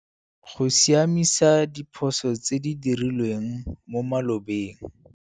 Go siamisa diphoso tse di dirilweng mo malobeng